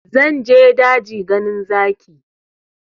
Zan je daji ganin zaki